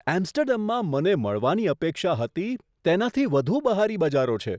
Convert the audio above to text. એમ્સ્ટર્ડમમાં મને મળવાની અપેક્ષા હતી, તેનાથી વધુ બહારી બજારો છે.